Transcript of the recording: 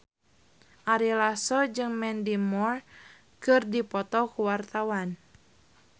Ari Lasso jeung Mandy Moore keur dipoto ku wartawan